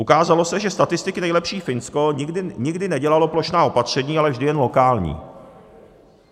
Ukázalo se, že statisticky nejlepší Finsko nikdy nedělalo plošná opatření, ale vždy jen lokální.